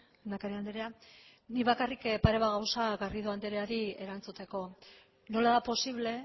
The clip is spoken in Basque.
lehendakari andrea nik bakarrik pare bat gauza garrido andreari erantzuteko nola da posible